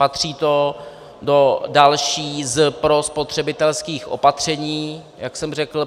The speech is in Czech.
Patří to do dalších ze spotřebitelských opatření, jak jsem řekl.